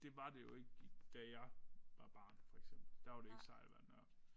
Det var det jo ikke i da jeg var barn for eksempel. Der var det ikke sejt at være en nørd